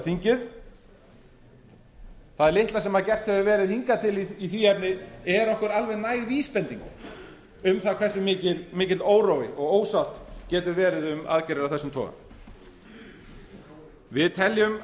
þingið það litla sem gert hefur verið hingað til í því efni er okkur alveg næg vísbending um það hvað mikill órói og ósátt getur verið um aðgerðir af þessum toga við teljum